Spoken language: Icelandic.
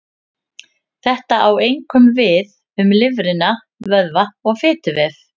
Þetta á einkum við um lifrina, vöðva og fituvef.